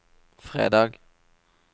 fredag